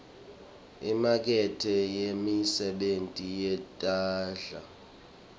imakethe yemisebenti yetandla